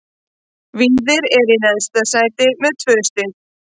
Víðir er í næst neðsta sæti með tvö stig.